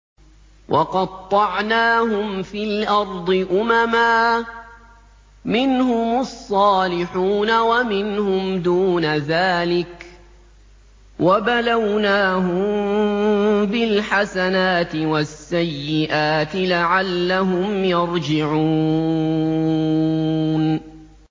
وَقَطَّعْنَاهُمْ فِي الْأَرْضِ أُمَمًا ۖ مِّنْهُمُ الصَّالِحُونَ وَمِنْهُمْ دُونَ ذَٰلِكَ ۖ وَبَلَوْنَاهُم بِالْحَسَنَاتِ وَالسَّيِّئَاتِ لَعَلَّهُمْ يَرْجِعُونَ